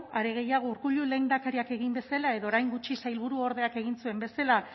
are gehiago urkullu lehendakariak egin bezala edo orain gutxi sailburuordeak egin zuen bezala